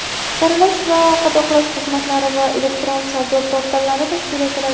saralash va qadoqlash xizmatlari va elektron savdo portallari tashkil etiladi;.